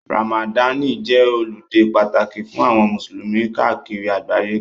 Ramadani jẹ́ ọludé pàtàkì fún àwọn musulumi káàkiri àgbáyé.